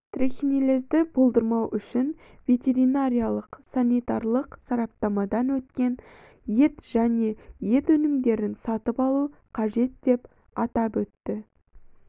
трихинеллезды болдырмау үшін ветеринариялық-санитарлық сараптамадан өткен ет және ет өнімдерін сатып алу қажет деп атап өтті